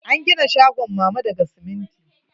An gina shagon mama na daga siminti.